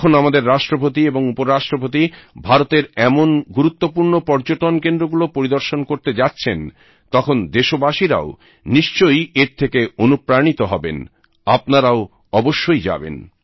যখন আমাদের রাষ্ট্রপতি এবং উপরাষ্ট্রপতি ভারতের এমন গুরুত্বপূর্ণ পর্যটন কেন্দ্রগুলো পরিদর্শন করতে যাচ্ছেন তখন দেশবাসীরাও নিশ্চই এর থেকে অনুপ্রাণিত হবেন আপনারাও অবশ্যই যাবেন